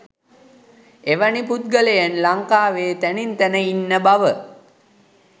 එවැනි පුද්ගලයන් ලංකාවේ තැනින් තැන ඉන්න බව